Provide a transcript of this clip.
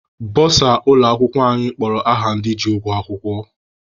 Bọsa ụlọ akwụkwọ anyị kpọrọ aha ndị ji ụgwọ akwụkwọ.